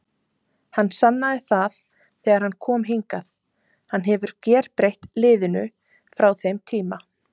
Hann sannaði það þegar hann kom hingað, hann hefur gerbreytt liðinu frá þeim tíma.